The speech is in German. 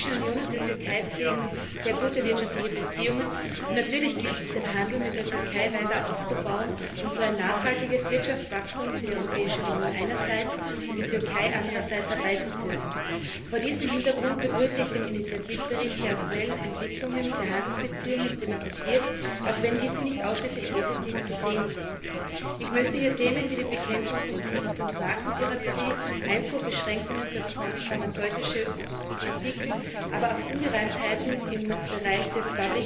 Die Europäische Union und die Türkei pflegen sehr gute wirtschaftliche Beziehungen, und natürlich gilt es, den Handel mit der Türkei weiter auszubauen und so ein nachhaltiges Wirtschaftswachstum für die Europäische Union einerseits und die Türkei andererseits herbeizuführen. Vor diesem Hintergrund begrüße ich den Initiativbericht, der aktuelle Entwicklungen, der Handlungsbeziehungen thematisiert, auch wenn diese nicht ausschließlich positiv zu sehen sind. Ich möchte hier Themen wie die Bekämpfung von Produkt und Markenpiraterie, Einfuhrbeschränkungen für pharmazeutische Artikel, aber auch Ungereimtheiten im Bereich des